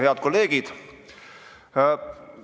Head kolleegid!